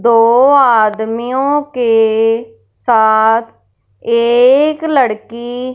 दो आदमियों के साथ एक लड़की--